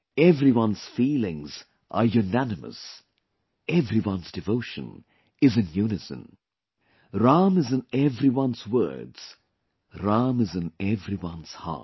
Everyone's feelings are unanimous, everyone's devotion is in unison... Ram is in everyone's words, Ram is in everyone's heart